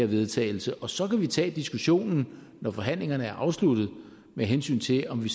vedtagelse og så kan vi tage diskussionen når forhandlingerne er afsluttet med hensyn til om vi